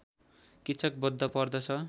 किच्चक बध पर्दछ